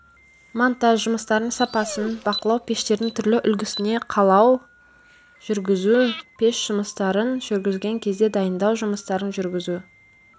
монтаж жұмыстарының сапасын бақылау пештердің түрлі үлгісіне қалау жүргізу пеш жұмыстарын жүргізген кезде дайындау жұмыстарын жүргізу